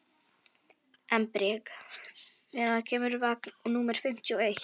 Embrek, hvenær kemur vagn númer fimmtíu og eitt?